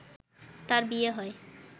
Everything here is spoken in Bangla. তার বিয়ে হয়